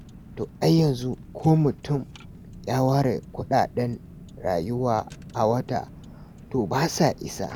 To ai yanzu ko mutum ya ware kuɗaɗen rayuwa a wata, to ba sa isa.